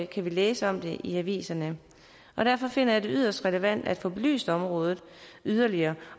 kan vi læse om det i aviserne derfor finder jeg det yderst relevant at få belyst området yderligere